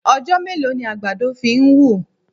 Ọjọ́ mélòó ni àgbàdo fi ń wù?